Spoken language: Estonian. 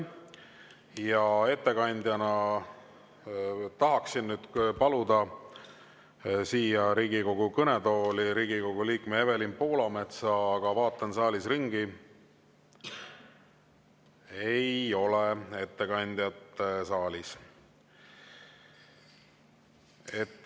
Ja ettekandjana tahaksin nüüd paluda siia Riigikogu kõnetooli Riigikogu liikme Evelin Poolametsa, aga vaatan saalis ringi – ei ole ettekandjat saalis.